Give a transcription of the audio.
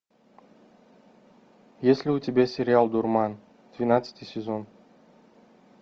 есть ли у тебя сериал дурман двенадцатый сезон